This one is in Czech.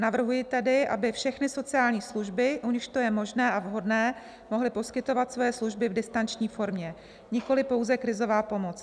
Navrhuji tedy, aby všechny sociální služby, u nichž to je možné a vhodné, mohly poskytovat svoje služby v distanční formě, nikoli pouze krizová pomoc.